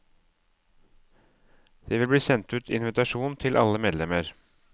Det vil bli sendt ut invitasjon til alle medlemmer.